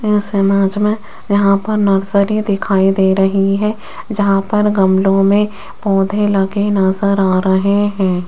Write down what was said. इस इमेज में यहां पर नर्सरी दिखाई दे रही है यहां पर गमलों में पोधै लगे नजर आ रहे हैं।